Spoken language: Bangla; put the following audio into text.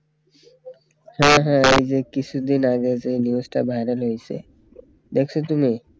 হ্যাঁ হ্যাঁ এই যে কিছুদিন আগে যেই news টা viral হয়েছে দেখছো তুমি